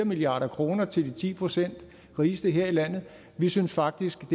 milliard kroner til de ti procent rigeste her i landet vi synes faktisk at